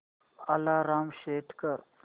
alarm set कर